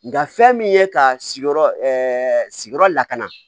Nga fɛn min ye ka sigiyɔrɔ sigiyɔrɔ la ka na